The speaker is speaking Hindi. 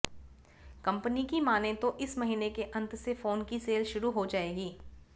कंपनी की मानें तो इस महीने के अंत से फोन की सेल शुरू हो जाएगी